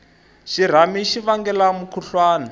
xirhami xi vangela mukhuhlwani